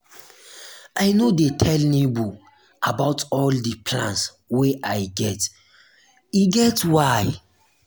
i no dey tell nebor about all di plans wey i get e get why.